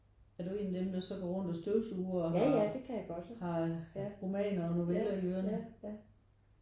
Er du en af dem der så går rundt og støvsuger og har har romaner og noveller i ørerne?